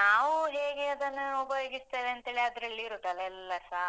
ನಾವು ಹೇಗೆ ಅದನ್ನು ಉಪಯೋಗಿಸ್ತೇವೇಂತೇಳಿ ಅದ್ರಲ್ಲಿ ಇರುದಲ್ಲ ಎಲ್ಲಸ?